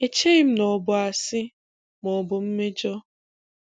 Echeghị m na ọ bụ asị maọbụ mmejọ.